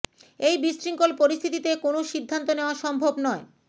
এই বিশৃঙ্খল পরিস্থিতিতে কোনও সিদ্ধান্ত নেওয়া সম্ভব নয়